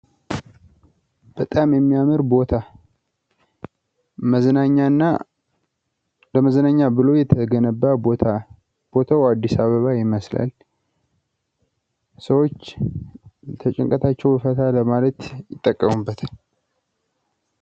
በጣም የሚያምር ቦታ መዝናኛና ለመዝናኛ ተብሎ የተገነባ ቦታ። ቦታው አዲስ አበባ ይመስላል ሰዎች ከጭንቀታቸው ዘና ለማለት ይጠቀሙበታል።